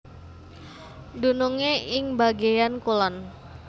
Dunungé ing bagéan kulon